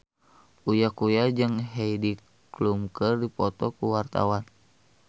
Uya Kuya jeung Heidi Klum keur dipoto ku wartawan